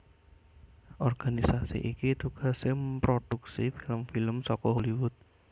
Organisasi iki tugasé mproduksi film film saka Hollywood